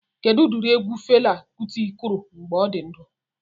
Kedụ ụdịrị egwu Fela Kuti kụrụ mgbe ọ dị ndụ?